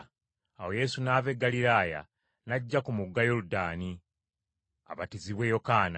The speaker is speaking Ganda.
Awo Yesu n’ava e Ggaliraaya n’ajja ku mugga Yoludaani, abatizibwe Yokaana.